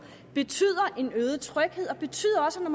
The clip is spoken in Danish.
betyder en øget tryghed og betyder også at